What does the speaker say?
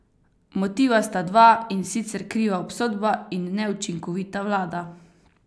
Motiva sta dva in sicer kriva obsodba in neučinkovita vlada.